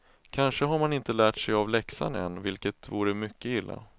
Kanske har man inte lärt sig av läxan än, vilket vore mycket illa.